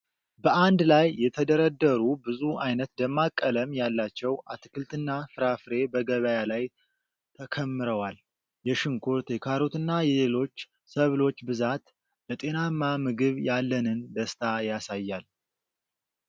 በአንድ ላይ የተደረደሩ ብዙ አይነት ደማቅ ቀለም ያላቸው አትክልትና ፍራፍሬ በገበያ ላይ ተከምረዋል። የሽንኩርት፣ የካሮትና የሌሎች ሰብሎች ብዛት፣ ለጤናማ ምግብ ያለንን ደስታ ያሳያል።